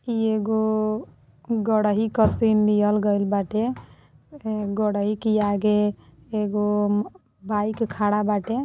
इ एगो गढही क सीन लिहल गई बाटे ए गढही के आगे एगो बाइक खड़ा बाटे --